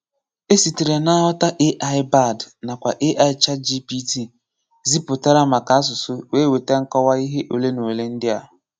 E sitere na nghọta AI Bard nakwa AI ChatGPT ziputara maka asụsụ wee weta nkọwa ihe ole na ole ndị a.